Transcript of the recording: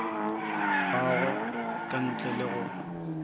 gagwe ka ntle le go